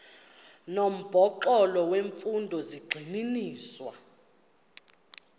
nomxholo wemfundo zigxininiswa